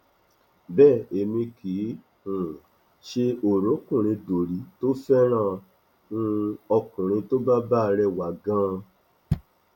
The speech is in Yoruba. bẹẹ èmi kì í um ṣe oròkunrindorí tó fẹràn um ọkùnrin tó bá bá rẹwà ganan